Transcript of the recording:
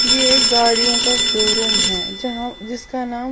ये गाड़ियों का शोरूम हैजहां जिसका नाम--